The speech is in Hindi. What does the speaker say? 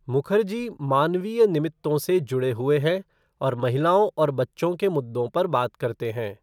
मुखर्जी मानवीय निमित्तों से जुड़े हुए हैं और महिलाओं और बच्चों के मुद्दों पर बात करते हैं।